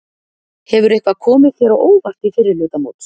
Hefur eitthvað komið þér á óvart í fyrri hluta móts?